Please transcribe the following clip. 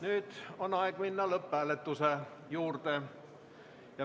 Nüüd on aeg minna lõpphääletuse juurde.